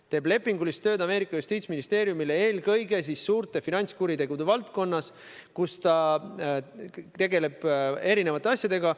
Ta teeb lepingulist tööd Ameerika Ühendriikide justiitsministeeriumile eelkõige suurte finantskuritegude valdkonnas, tegeldes erisuguste asjadega.